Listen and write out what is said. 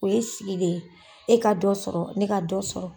O ye sigi de ye e ka dɔ sɔrɔ ne ka dɔ sɔrɔ.